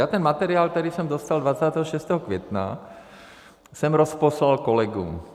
Já ten materiál, který jsem dostal 26. května, jsem rozposlal kolegům.